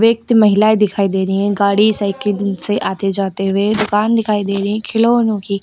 महिलाएं दिखाई दे रही हैं गाड़ी साइकिल से आते जाते हुए दुकान दिखाई दे रही है खिलौनों की।